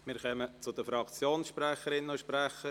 Wir kommen zu den Fraktionssprecherinnen und -sprechern.